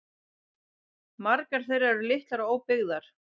Margar þeirra eru litlar og óbyggðar